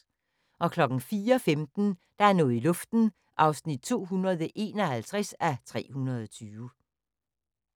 04:15: Der er noget i luften (251:320)